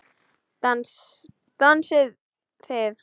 Dansið þið.